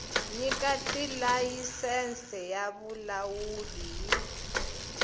nyika tilayisense ya vulawuli yi